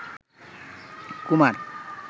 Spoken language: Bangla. কুমার